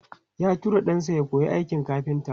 Ya tura ɗansa ya koyi aikin kafinta.